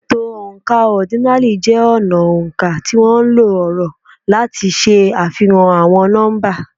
Ètò oǹkà ọ́dínààlí jẹ́ ọnà oǹkà tí ó nlo ọ̀rọ̀ láti ṣe àfihàn àwọn nọ́mbà.